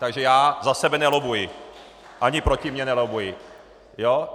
Takže já za sebe nelobbuji ani proti mně nelobbuji.